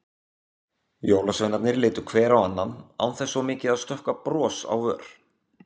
Jólasveinarnir litu hver á annan, án þess svo mikið að stökkva bros á vör.